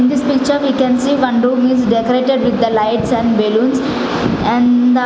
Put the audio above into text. in this picture we can see one room is decorated with the lights and balloons and the --